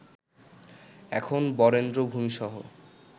এখন বরেন্দ্র ভূমিসহ